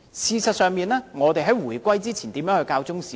事實上，我們在回歸前如何教授中史呢？